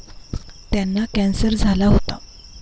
त्यांना कॅन्सर झाला होता.